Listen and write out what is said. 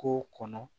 K'o kɔnɔ